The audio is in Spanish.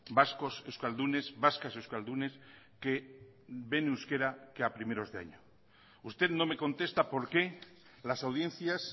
vascos euskaldunes vascas euskaldunes que ven euskera que a primeros de año usted no me contesta por qué las audiencias